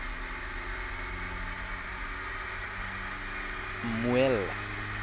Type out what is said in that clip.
mmuela